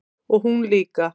Og hún líka.